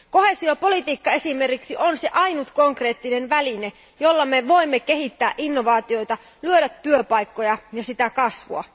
Koheesiopolitiikka esimerkiksi on se ainoa konkreettinen väline, jolla me voimme kehittää innovaatioita, luoda työpaikkoja ja kasvua.